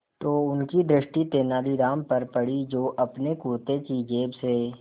तो उनकी दृष्टि तेनालीराम पर पड़ी जो अपने कुर्ते की जेब से